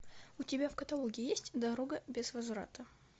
у тебя в каталоге есть дорога без возврата